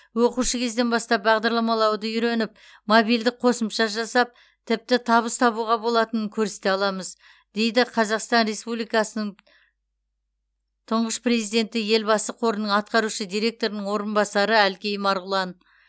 оқушы кезден бастап бағдарламалауды үйреніп мобильдік қосымша жасап тіпті табыс табуға болатынын көрсете аламыз дейді қазақстан республикасының тұңғыш президенті елбасы қорының атқарушы директорының орынбасары әлкей марғұлан